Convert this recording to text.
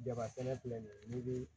Jaba kɛnɛ filɛ nin ye n'i bi